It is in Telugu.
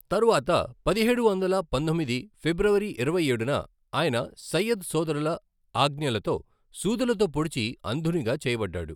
తరువాత పదిహేడు వందల పంతొమ్మిది ఫిబ్రవరి ఇరవై ఏడున ఆయన సయ్యద్ సోదరుల ఆజ్ఞలతో సూదులతో పొడిచి అంధునిగా చేయబడ్డాడు.